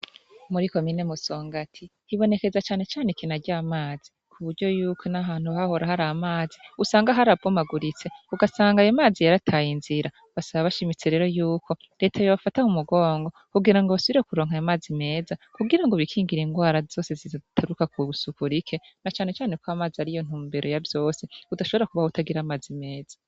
Muri komine Musongati hibonekeza canecane ikena ry'amazi ku buryo yuko n'ahantu hahora hari amazi usanga harabomaguritse ugasanga ayo mazi yarataye inzira, basaba bashimitse rero yuko reta yobafata mu mugongo kugira ngo basubire kuronka ayo mazi meza kugira ngo bikingire ingwara zose zituruka kw'isuku rike na canecane ko amazi ariyo ntumbere ya vyose, udashobora kubaho utagira amazi meza.